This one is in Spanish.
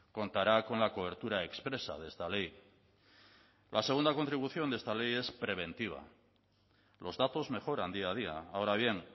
contará con la cobertura expresa de esta ley la segunda contribución de esta ley es preventiva los datos mejoran día a día ahora bien